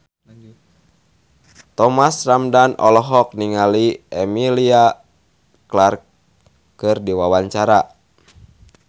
Thomas Ramdhan olohok ningali Emilia Clarke keur diwawancara